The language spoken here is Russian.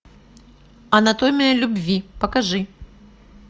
анатомия любви покажи